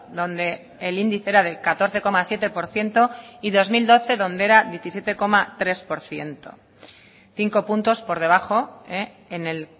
donde el índice era del catorce coma siete por ciento y dos mil doce donde era diecisiete tres por ciento cinco puntos por debajo en el